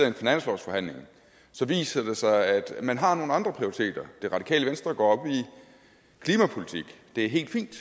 en finanslovsforhandling så viser det sig at man har nogle andre prioriteringer det radikale venstre går op i klimapolitik det er helt fint